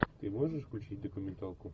ты можешь включить документалку